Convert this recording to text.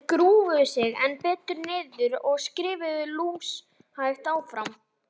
Þeir grúfðu sig enn betur niður og skriðu lúshægt áfram.